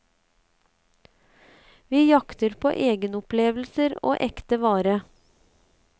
Vi jakter på egenopplevelser og ekte vare.